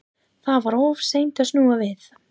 Það var of seint að snúa við.